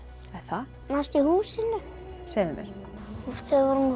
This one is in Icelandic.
það manstu í húsinu segðu mér hún